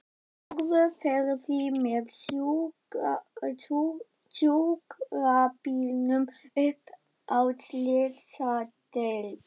Þórður fer því með sjúkrabílnum upp á slysadeild.